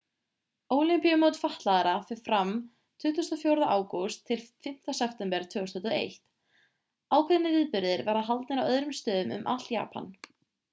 ólympíumót fatlaðra fer fram frá 24. ágúst til 5. september 2021. ákveðnir viðburðir verða haldnir á öðrum stöðum um allt japan